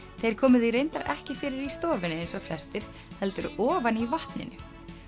þeir komu því reyndar ekki fyrir í stofunni eins og flestir heldur ofan í vatninu